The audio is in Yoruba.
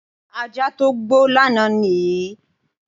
Ajá tó gbó lánàá nìyí.